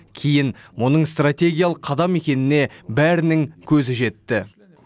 кейін мұның стратегиялық қадам екеніне бәрінің көзі жетті